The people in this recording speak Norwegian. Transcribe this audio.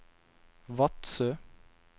Vadsø